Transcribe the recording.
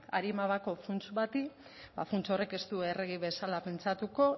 arima gabeko funts bati ba funts horrek ez du errege bezala pentsatuko